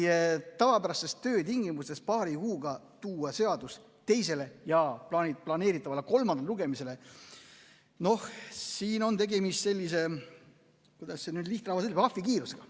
Meie tavapärastes töötingimustes tuua seadus paari kuuga teisele ja planeeritavale kolmandale lugemisele – noh, siin on tegemist sellise, kuidas see nüüd on, ahvikiirusega.